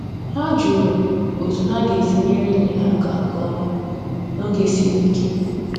Ha jụrụ otu ha ga-esi nyere enyi ha aka nke ọma n’oge siri ike